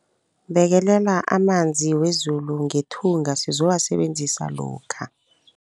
Bekelela amanzi wezulu ngethunga sizowasebenzisa lokha.